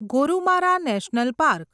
Gorumara national park